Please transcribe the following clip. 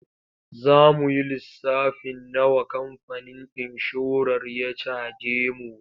Za mu yi lissafin nawa kamfanin inshorar ya caje mu.